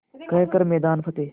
कर हर मैदान फ़तेह